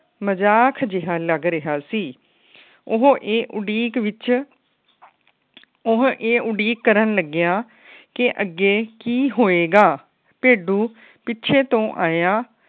ਮਜਾਕ ਜਿਹਾ ਲੱਗ ਰਿਹਾ ਸੀ। ਉਹ ਇਹ ਉਡੀਕ ਵਿੱਚ ਉਹ ਇਹ ਉਡੀਕ ਕਰਨ ਲੱਗਿਆ ਕੇ ਅੱਗੇ ਕਿ ਹੋਏ ਗਾ। ਭੇਡੂ ਪਿੱਛੇ ਤੋਂ ਆਇਆ।